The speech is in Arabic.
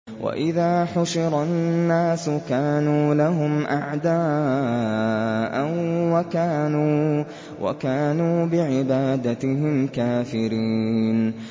وَإِذَا حُشِرَ النَّاسُ كَانُوا لَهُمْ أَعْدَاءً وَكَانُوا بِعِبَادَتِهِمْ كَافِرِينَ